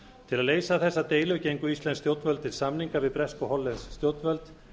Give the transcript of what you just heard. til að leysa þessa deilu gengu íslensk stjórnvöld til samninga við bresk og hollensk stjórnvöld